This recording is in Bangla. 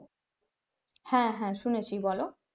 হ্যাঁ হ্যাঁ শুনেছি বলো.